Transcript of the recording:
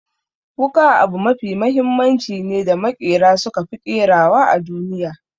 Wuƙa abu mafi mahimmanci ne da maƙera suka fi ƙerawa a duniya.